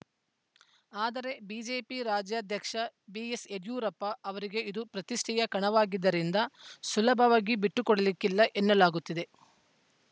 ಆದರೆ ಬಿಜೆಪಿ ರಾಜ್ಯಾಧ್ಯಕ್ಷ ಬಿಎಸ್‌ಯಡಿಯೂರಪ್ಪ ಅವರಿಗೆ ಇದು ಪ್ರತಿಷ್ಠೆಯ ಕಣವಾಗಿದ್ದರಿಂದ ಸುಲಭವಾಗಿ ಬಿಟ್ಟು ಕೊಡಲಿಕ್ಕಿಲ್ಲ ಎನ್ನಲಾಗುತ್ತಿದೆ